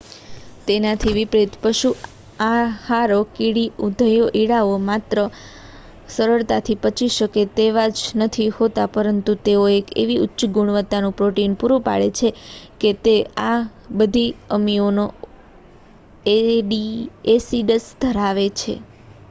તેનાથી વિપરીત પશુ આહારો કીડી ઉધઈઓ ઇંડાઓ માત્ર સરળતાથી પચી શકે તેવા જ નથી હોતા પરંતુ તેઓ એવી ઉચ્ચ ગુણવતાનું પ્રોટીન પ્રુરુ પાડે છે કે જે આ બધા અમીનો એસીડસ ધરાવે છે